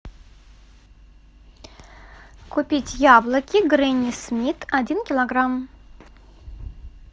купить яблоки гренни смит один килограмм